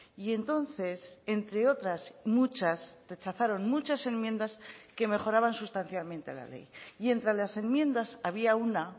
y entonces entre otras muchas rechazaron muchas enmiendas que mejoraban sustancialmente la ley y entre las enmiendas había una